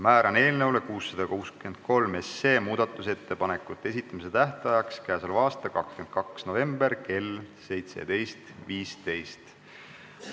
Määran eelnõu 663 kohta muudatusettepanekute esitamise tähtajaks k.a 22. novembri kell 17.15.